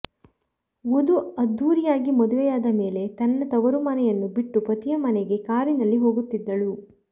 ವಧು ಅದ್ಧೂರಿಯಾಗಿ ಮದುವೆಯಾದ ಮೇಲೆ ತನ್ನ ತವರು ಮನೆಯನ್ನು ಬಿಟ್ಟು ಪತಿಯ ಮನೆಗೆ ಕಾರಿನಲ್ಲಿ ಹೋಗುತ್ತಿದ್ದಳು